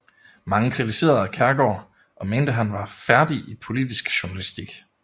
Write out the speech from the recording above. Mange kritiserede Kjærgaard og mente han var færdig i politisk journalistik